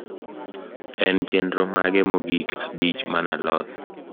en chenro mage mogik abich manaloso